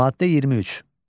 Maddə 23.